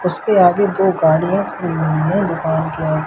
उसके आगे दो गाड़ियां खड़ी हुई हैं दुकान के आ--